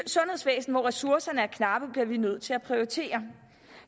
sundhedsvæsen hvor ressourcerne er knappe bliver vi nødt til at prioritere